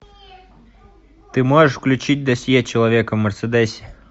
ты можешь включить досье человека в мерседесе